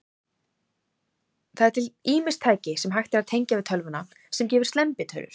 Það eru til ýmis tæki, sem hægt er að tengja við tölvuna, sem gefa slembitölur.